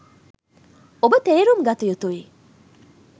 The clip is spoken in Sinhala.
ඔබ තේරුම් ගත යුතුයි